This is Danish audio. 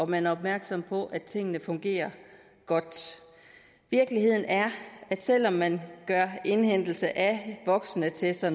man er opmærksom på at tingene fungerer godt virkeligheden er at selv om man gør indhentelse af voksenattester